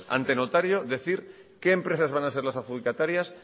ante notario decir qué empresas van a ser las adjudicatarias